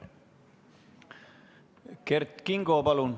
Kert Kingo, palun!